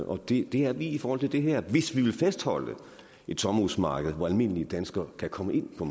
og det er vi i forhold til det her hvis vi vil fastholde et sommerhusmarked som almindelige danskere kan komme ind på